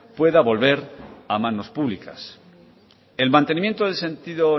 pueda volver a manos públicas el mantenimiento del sentido